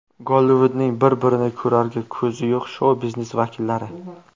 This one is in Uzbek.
Gollivudning bir-birini ko‘rarga ko‘zi yo‘q shou-biznes vakillari.